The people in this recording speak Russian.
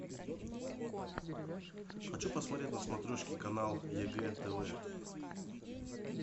хочу посмотреть на смотрешке канал егэ тв